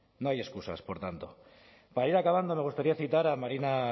no hay excusas por tanto para ir acabando me gustaría citar a marina